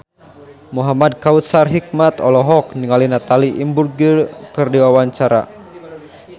Muhamad Kautsar Hikmat olohok ningali Natalie Imbruglia keur diwawancara